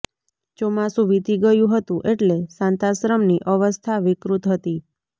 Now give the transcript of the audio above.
ચોમાસું વીતી ગયું હતું એટલે શાંતાશ્રમની અવસ્થા વિકૃત હતી